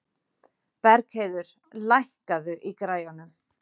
Bergheiður, lækkaðu í græjunum.